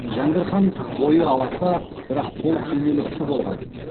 жәңгір хан бойы аласа бірақ толық денелі кісі болған